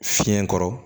Fiɲɛ kɔrɔ